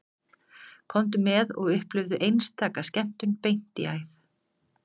Komdu með og upplifðu einstaka skemmtun beint í æð